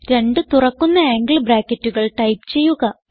രണ്ട് തുറക്കുന്ന ആംഗിൾ ബ്രാക്കറ്റുകൾ ടൈപ്പ് ചെയ്യുക